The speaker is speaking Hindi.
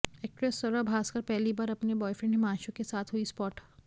एक्ट्रेस स्वरा भास्कर पहली बार अपने बॉयफ्रेंड हिमांशु के साथ हुई स्पॉट